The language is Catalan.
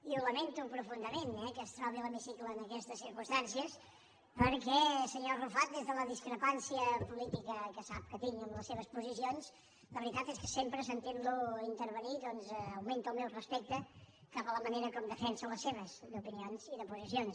i ho lamento profundament eh que es trobi l’hemicicle en aquestes circumstàncies perquè senyor arrufat des de la discrepància política que sap que tinc amb les seves posicions la veritat és que sempre sentint lo intervenir doncs augmenta el meu respecte cap a la manera com defensa les seves d’opinions i de posicions